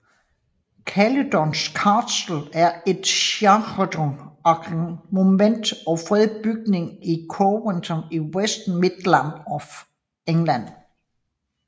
Caludon Castle er et Scheduled Ancient Monument og fredet bygning i Coventry i West Midlands of England